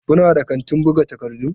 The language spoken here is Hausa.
Kuna da kantin buga takardu?